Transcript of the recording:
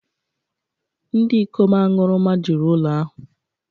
Ndị ikom aṅụrụma juru ụlọ ahụ